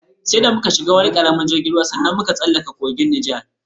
Sai da muka shiga wani karamin jirgin ruwa sanda muka tsallaka kogin Nijar.